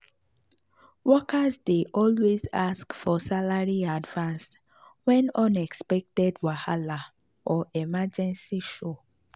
workers dey always ask for salary advance when unexpected wahala or emergency show.